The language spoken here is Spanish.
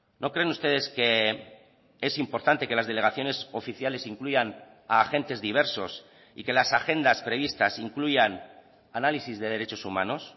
no creen ustedes que es importante que las delegaciones oficiales incluyan a agentes diversos y que las agendas previstas incluyan análisis de derechos humanos